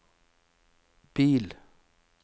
bil